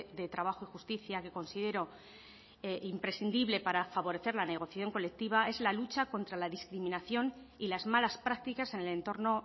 de trabajo y justicia que considero imprescindible para favorecer la negociación colectiva es la lucha contra la discriminación y las malas prácticas en el entorno